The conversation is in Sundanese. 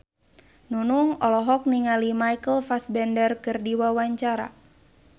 Nunung olohok ningali Michael Fassbender keur diwawancara